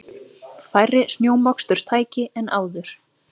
Færri snjómoksturstæki en áður